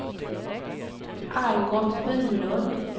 Algot Bylund